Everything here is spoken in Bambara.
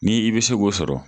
Ni i bɛ se k'o sɔrɔ.